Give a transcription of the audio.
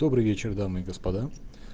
добрый вечер дамы и господа